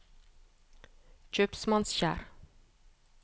Kjøpsmannskjær